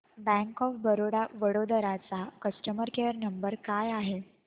bank of Baroda Vadodara चा customer care number काय आहे